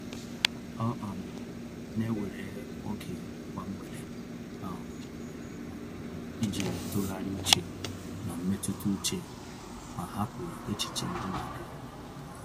Ọ um na-ewere oge kwa mgbede um iji tụgharị uche na mmetụta uche ma hapụ echiche ndị na-adịghị mma.